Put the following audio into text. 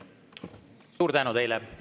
Suur tänu teile!